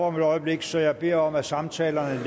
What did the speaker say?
om et øjeblik så jeg beder om at samtalerne